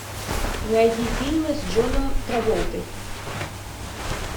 найди фильмы с джоном траволтой